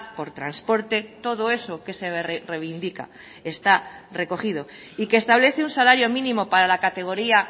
por transporte todo eso que se reivindica está recogido y que establece un salario mínimo para la categoría